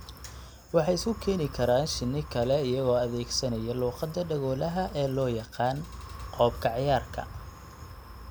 Waxay isku keeni karaan shinni kale iyagoo adeegsanaya luqadda dhegoolaha ee loo yaqaan " qoob ka ciyaarka".